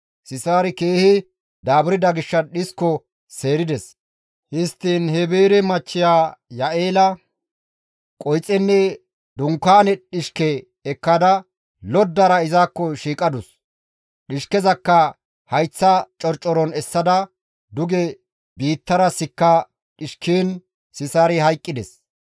Sisaari keehi daaburda gishshas dhisko seerides; histtiin Heebere machchiya Ya7eela qoyxenne dunkaane dhishke ekkada loddara izakko shiiqadus; dhishkezakka hayththa corcoron essada duge biittara sikka dhishkiin Sisaari hayqqides.